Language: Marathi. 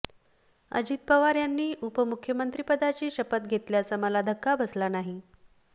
अजित पवार यांनी उपमुख्यमंत्रिपदाची शपथ घेतल्याचा मला धक्का बसला नाही